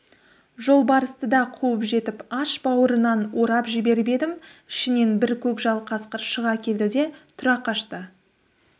жолбарысты да қуып жетіп аш бауырынан орып жіберіп едім ішінен бір көкжал қасқыр шыға келді де тұра қашты